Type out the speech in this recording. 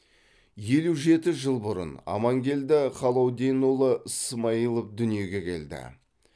елу жеті жыл бұрын амангелді халауденұлы смаилов дүниеге келді